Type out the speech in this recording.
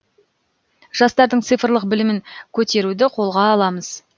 жастардың цифрлық білімін көтеруді қолға аламыз